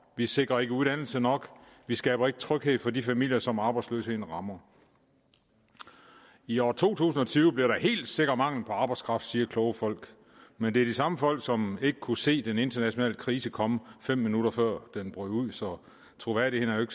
vi sikrer ikke uddannelse nok vi skaber ikke tryghed for de familier som arbejdsløsheden rammer i år to tusind og tyve bliver der helt sikkert mangel på arbejdskraft siger kloge folk men det er de samme folk som ikke kunne se den internationale krise komme fem minutter før den brød ud så troværdigheden